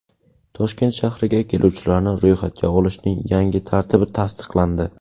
Toshkent shahriga keluvchilarni ro‘yxatga olishning yangi tartibi tasdiqlandi .